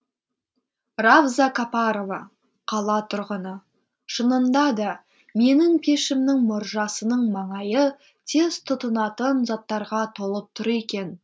равза капарова қала тұрғыны шынында да менің пешімнің мұржасының маңайы тез тұтынатын заттарға толып тұр екен